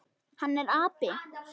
Hann er api.